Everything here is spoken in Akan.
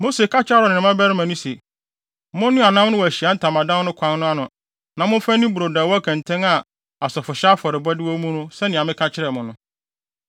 Mose ka kyerɛɛ Aaron ne ne mmabarima no se, “Monnoa nam no wɔ Ahyiae Ntamadan no kwan ano na momfa nni brodo a ɛwɔ kɛntɛn a asɔfohyɛ afɔrebɔde wɔ mu no sɛnea meka kyerɛɛ mo no.